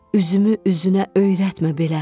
Üzümü üzünə öyrətmə belə.